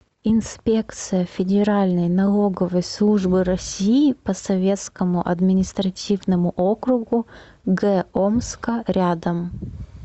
инспекция федеральной налоговой службы россии по советскому административному округу г омска рядом